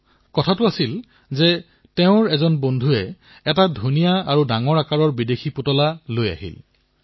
শেষত হল কি তেওঁৰ এজন বন্ধুয়ে এটা সুন্দৰ বিদেশী খেলাসামগ্ৰী লৈ আহিল